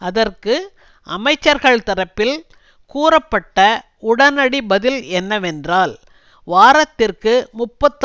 அதற்கு அமைச்சர்கள் தரப்பில் கூறப்பட்ட உடனடி பதில் என்னவென்றால் வாரத்திற்கு முப்பத்தி